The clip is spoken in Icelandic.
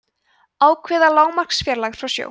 ákveða lágmarksfjarlægð frá sjó